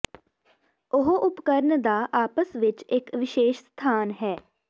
ਉਹ ਉਪਕਰਣ ਦਾ ਆਪਸ ਵਿੱਚ ਇੱਕ ਵਿਸ਼ੇਸ਼ ਸਥਾਨ ਹੈ